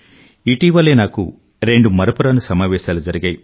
ఇటీవలే నాకు రెండు మరపురాని సమావేశాలు జరిగాయి